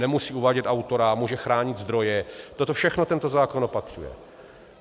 Nemusí uvádět autora, může chránit zdroje, toto všechno tento zákon opatřuje.